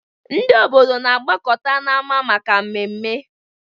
Ndị obodo na-agbakọta n'ámá maka ememme.